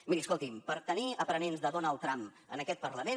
miri escolti’m per tenir aprenents de donald trump en aquest parlament